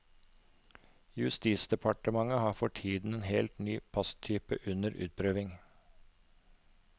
Justisdepartementet har for tiden en helt ny passtype under utprøving.